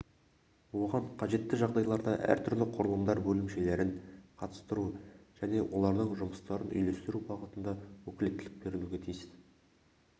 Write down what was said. оған қажетті жағдайларда әртүрлі құрылымдар бөлімшелерін қатыстыру және олардың жұмыстарын үйлестіру бағытында өкілеттілік берілуге тиісті